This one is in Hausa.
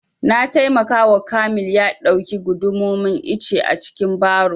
Na taimaka wa kamil ya ɗauki gundumomin icce a cikin baro